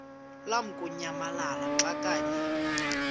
lamukunyamalala xa kanye